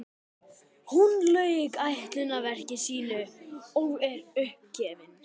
Hún lauk ætlunarverki sínu og er uppgefin.